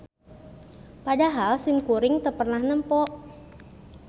Padahal simkuring teu pernah nempo